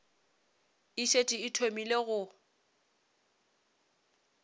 e šetše e thomile go